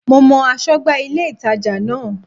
Mo mọ aṣọ́gbà ilé-ìtàjà náà